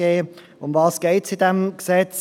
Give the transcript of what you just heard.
Worum geht es in diesem Gesetz?